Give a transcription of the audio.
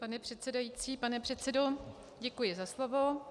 Pan předsedající, pane předsedo, děkuji za slovo.